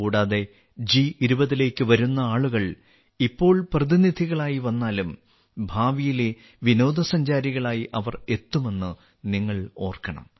കൂടാതെ ജി20 ലേക്ക് വരുന്ന ആളുകൾ ഇപ്പോൾ പ്രതിനിധികളായി വന്നാലും ഭാവിയിലെ വിനോദസഞ്ചാരികളായി അവർ എത്തുമെന്ന് നിങ്ങൾ ഓർക്കണം